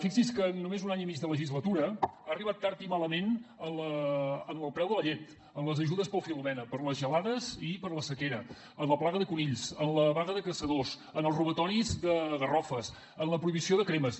fixi’s que en només un any i mig de legislatura ha arribat tard i malament en el preu de la llet en les ajudes pel filomena per les gelades i per la sequera en la plaga de conills en la vaga de caçadors en els robatoris de garrofes en la prohibició de cremes